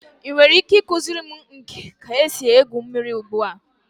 Ị nwere ike ịkụziri m ka esi egwu mmiri ugbu a?